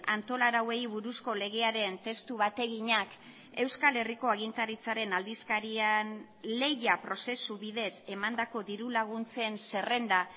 antola arauei buruzko legearen testu bateginak euskal herriko agintaritzaren aldizkarian lehia prozesu bidez emandako diru laguntzen zerrenda